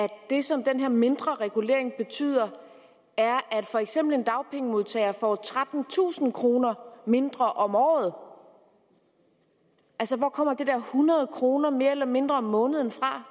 det som den her mindre regulering betyder er at for eksempel en dagpengemodtager får trettentusind kroner mindre om året altså hvor kommer det der hundrede kroner mere eller mindre om måneden fra